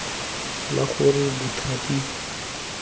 la gore bothati bo bo